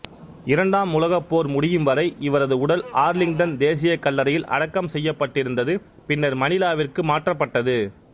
இரண்டாம் உலகப் போர் முடியும்வரை இவரது உடல் ஆர்லிங்டன் தேசியக் கல்லறையில் அடக்கம் செய்யப்பட்டிருந்தது பின்னர் மணிலாவிற்கு மாற்றப்பட்டது